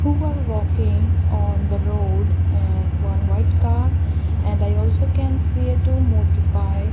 who are walking on the road and one white car and i also can see a two motor bike.